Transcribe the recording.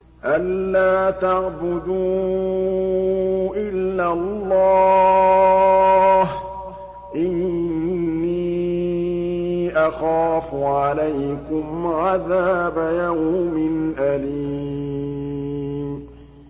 أَن لَّا تَعْبُدُوا إِلَّا اللَّهَ ۖ إِنِّي أَخَافُ عَلَيْكُمْ عَذَابَ يَوْمٍ أَلِيمٍ